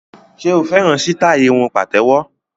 Ṣe o fẹ́ràn sítáì irun pàtéwọ́?